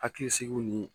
Hakili sigi nin